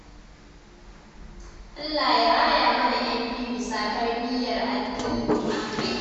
Allah ya raya mana 'yan biyu bisa tarbiyyar addini amin.